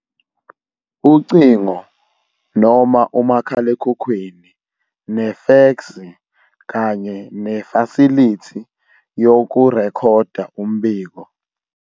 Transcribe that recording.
Ucingo noma umakhalekhukhwini nefeksi kanye nefasilithi yokurekhoda umbiko